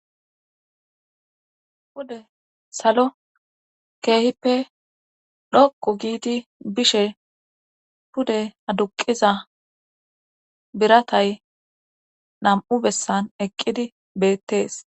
Pude salo keehippe dhoqu giidi bishe pude aduqiza biratay nam7u bessan eqqidi bettees